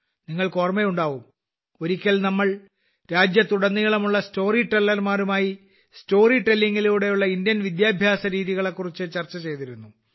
നിങ്ങൾക്ക്് ഓർമയുണ്ടാവും ഒരിക്കൽ ഞങ്ങൾ രാജ്യത്തുടനീളമുള്ള സ്റ്റോറി ടെല്ലർമാരുമായി സ്റ്റോറി ടെല്ലിംഗിലൂടെയുള്ള ഇന്ത്യൻ വിദ്യാഭ്യാസ രീതികളെക്കുറിച്ച് ചർച്ച ചെയ്തിരുന്നു